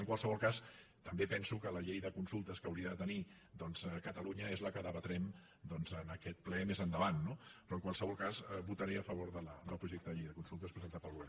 en qualsevol cas també penso que la llei de consultes que hauria de tenir catalunya és la que debatrem en aquest ple més endavant no però en qualsevol cas votaré a favor del projecte de llei de consultes presentat pel govern